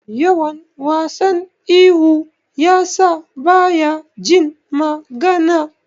Yawan wasan ihu yasa baya jin magana.